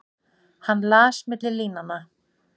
Hann las milli línanna.